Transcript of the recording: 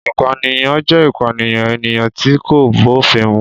Ìpànìyàn jẹ́ ìpànìyàn ènìyàn tí kò bófin mu.